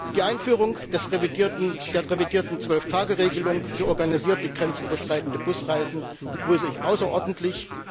Die Einführung der revidierten 12 Tage Regelung für organisierte grenzüberschreitende Busreisen begrüße ich außerordentlich.